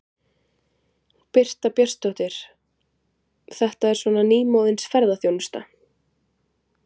Birta Björnsdóttir: Þetta er svona nýmóðins ferðaþjónusta?